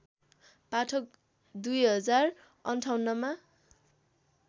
पाठक २०५८ मा